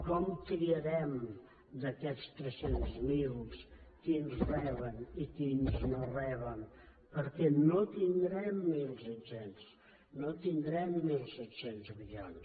com triarem d’aquests tres cents miler quins ho reben i quins no ho reben perquè no en tindrem mil cinc cents no tindrem mil cinc cents milions